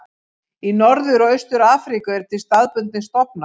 Í Norður og Austur-Afríku eru til staðbundnir stofnar.